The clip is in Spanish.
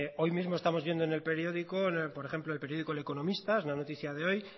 hoy mismo estamos viendo en el periódico por ejemplo en el periódico el economista una noticia de hoy